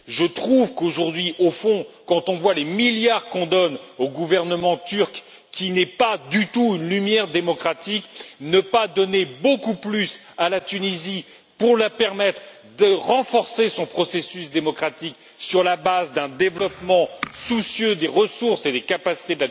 Je trouve qu'aujourd'hui, au fond, quand on voit les milliards que l'on donne au gouvernement turc, qui n'est pas du tout une lumière démocratique, ne pas donner beaucoup plus à la Tunisie pour lui permettre de renforcer son processus démocratique sur la base d'un développement soucieux de ses ressources et de ses capacités